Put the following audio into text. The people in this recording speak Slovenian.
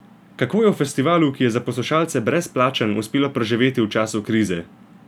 Kako je festivalu, ki je za poslušalce brezplačen, uspelo preživeti v času krize?